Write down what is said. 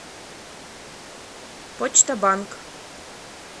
почта банк